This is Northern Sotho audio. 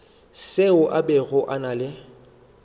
seo a bego a le